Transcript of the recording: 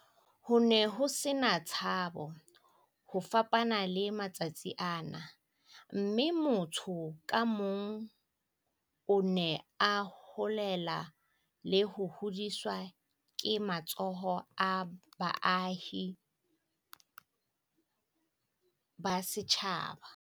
"Ho ne ho se na tshabo, ho fapana le matsatsing ana, mme motho ka mong o ne a holela le ho hodiswa ke matsoho a baahi ba setjhaba."